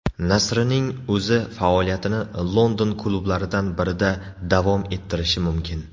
Nasrining o‘zi faoliyatini London klublaridan birida davom ettirishi mumkin.